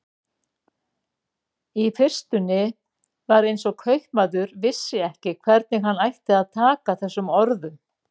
Í fyrstunni var eins og kaupmaður vissi ekki hvernig hann ætti að taka þessum orðum.